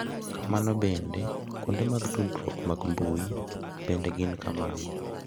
Kamano bende, kuonde mag tudruok mag mbui bende gin kamano.